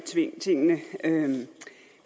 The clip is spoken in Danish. tingene